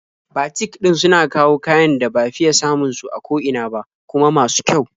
Batik ɗin suna kawo kayan da ba fiya samun su a ko ina ba, kuma masu kyau.